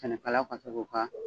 Sɛnɛkalaw ka se k'u ka